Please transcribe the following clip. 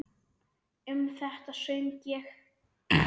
Um þetta söng ég: